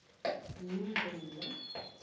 yindrina